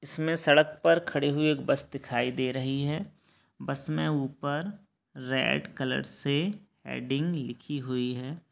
इसमें सड़क पर खड़ी हुई एक बस दिखाई दे रही है बस में ऊपर रेड कलर से हैडिंग लिखी हुई है।